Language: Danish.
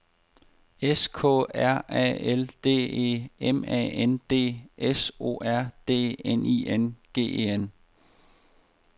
S K R A L D E M A N D S O R D N I N G E N